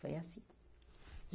Foi assim.